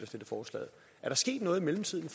stillet forslaget er der sket noget i mellemtiden